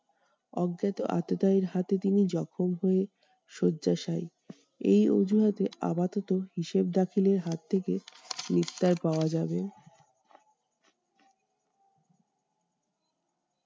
অজ্ঞাত আততায়ীর হাতে তিনি জখম হয়ে শয্যাশায়ী। এই অজুহাতে আপাতত হিসেবে দাখিলের হাত থেকে নিস্তার পাওয়া যাবে।